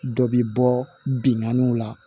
Dɔ bi bɔ binganniw la